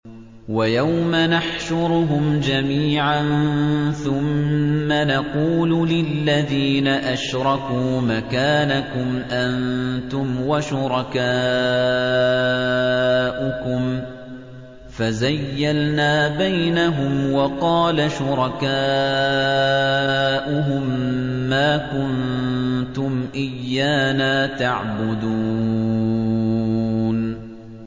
وَيَوْمَ نَحْشُرُهُمْ جَمِيعًا ثُمَّ نَقُولُ لِلَّذِينَ أَشْرَكُوا مَكَانَكُمْ أَنتُمْ وَشُرَكَاؤُكُمْ ۚ فَزَيَّلْنَا بَيْنَهُمْ ۖ وَقَالَ شُرَكَاؤُهُم مَّا كُنتُمْ إِيَّانَا تَعْبُدُونَ